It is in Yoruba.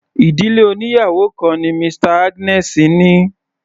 Ìdílé oníyàwò kan ni Mr Agnes ní.